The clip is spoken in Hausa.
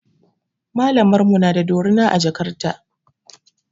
Malamar mu na da dorina a jakar ta.